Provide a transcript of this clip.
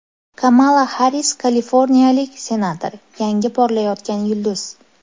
Kamala Harris Kaliforniyalik senator, yangi porlayotgan yulduz.